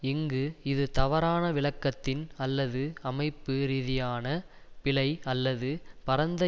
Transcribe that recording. இங்கு இது தவறான விளக்கத்தின் அல்லது அமைப்பு ரீதியான பிழை அல்லது பரந்த